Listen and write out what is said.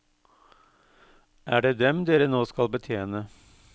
Er dem dere nå skal betjene?